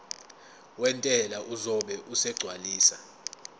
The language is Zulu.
wentela uzobe esegcwalisa